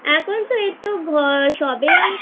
এখন তো আমি সবে আমি